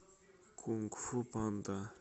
кунг фу панда